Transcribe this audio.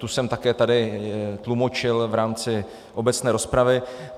Tu jsem také tady tlumočil v rámci obecné rozpravy.